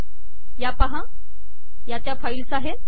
या पाहा या त्या फाईल्स आहेत